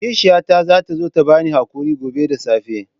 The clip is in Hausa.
Kishiyata za ta zo ta ba ni haƙuri gobe da safe.